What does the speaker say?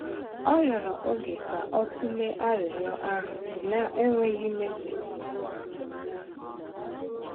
Ọ rịọrọ oge ka o tụlee arịrịọ ahụ, na-enweghị ime mkpebi ozugbo.